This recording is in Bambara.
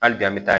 Hali bi an bɛ taa